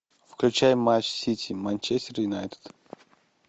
включай матч сити манчестер юнайтед